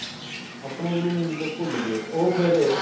ਆਪਣਾ main ਗੁਰੂ ਭੁੱਲ ਗਏ ਉਹ ਫ਼ਿਰ